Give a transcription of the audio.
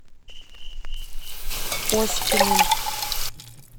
оськиным